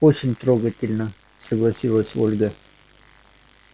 очень трогательно согласилась ольга